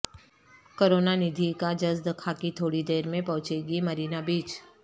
کروناندھی کا جسد خاکی تھوڑی دیر میں پہنچے گی مرینا بیچ